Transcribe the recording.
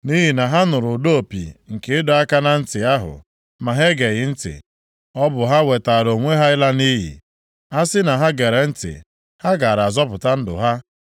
Nʼihi na ha nụrụ ụda opi nke ịdọ aka na ntị ahụ ma ha geghị ntị. Ọ bụ ha wetaara onwe ha ịla nʼiyi. A sị na ha gere ntị ha gaara azọpụta ndụ ha.